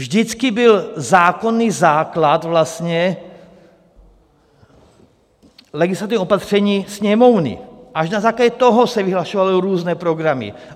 Vždycky byl zákonný základ, vlastně legislativní opatření Sněmovny, až na základě toho se vyhlašovaly různé programy.